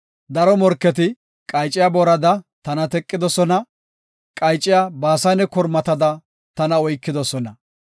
Daro morketi qayciya boorada tana teqidosona; qayciya Baasane kormatada tana oykidosona.